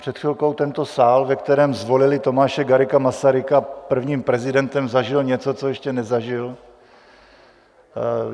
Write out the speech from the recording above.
Před chvilkou tento sál, ve kterém zvolili Tomáše Garrigua Masaryka prvním prezidentem, zažil něco, co ještě nezažil.